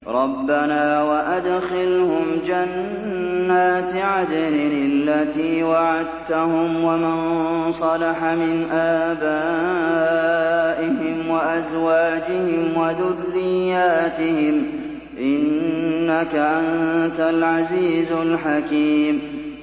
رَبَّنَا وَأَدْخِلْهُمْ جَنَّاتِ عَدْنٍ الَّتِي وَعَدتَّهُمْ وَمَن صَلَحَ مِنْ آبَائِهِمْ وَأَزْوَاجِهِمْ وَذُرِّيَّاتِهِمْ ۚ إِنَّكَ أَنتَ الْعَزِيزُ الْحَكِيمُ